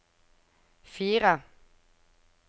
fire